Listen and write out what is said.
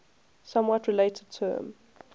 somewhat related term